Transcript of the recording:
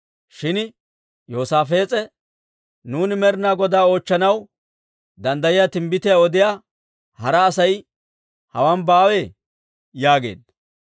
Shin Yoosaafees'e, «Nuuni Med'inaa Godaa oochchanaw danddayiyaa timbbitiyaa odiyaa hara Asay hawaan baawee?» yaageedda.